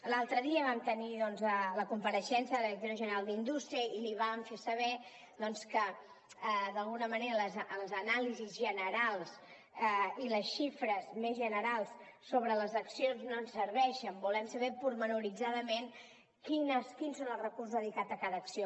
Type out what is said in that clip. l’altre dia vam tenir doncs la compareixença de la directora general d’indústria i li vam fer saber doncs que d’alguna manera les anàlisis generals i les xifres més generals sobre les accions no ens serveixen volem saber detalladament quins són els recursos dedicats a cada acció